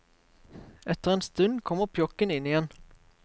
Etter en stund kommer pjokken inn igjen.